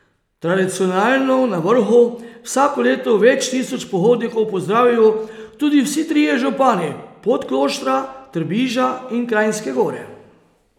Tradicionalno na vrhu vsako leto več tisoč pohodnikov pozdravijo tudi vsi trije župani Podkloštra, Trbiža in Kranjske Gore.